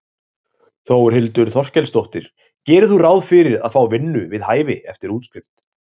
Þórhildur Þorkelsdóttir: Gerir þú ráð fyrir að fá vinnu við hæfi eftir útskrift?